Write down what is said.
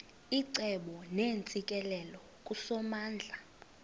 icebo neentsikelelo kusomandla